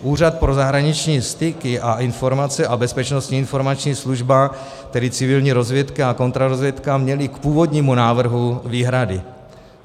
Úřad pro zahraniční styky a informace a Bezpečnostní informační služba, tedy civilní rozvědka a kontrarozvědka, měly k původnímu návrhu výhrady.